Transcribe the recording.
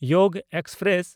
ᱭᱳᱜᱽ express